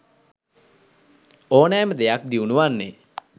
ඕනෑම දෙයක් දියුණු වන්නේ